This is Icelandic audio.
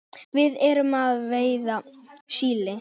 Við erum að veiða síli.